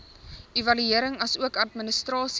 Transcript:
evaluering asook administrasie